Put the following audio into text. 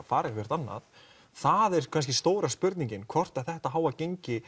fara einhvert annað það er kannski stóra spurningin hvort þetta háa gengi